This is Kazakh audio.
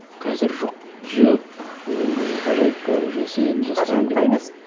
қазір жоқ жоқ ондай ғажайыпқа уже сенетін жастамын деп ғажайыпқа емес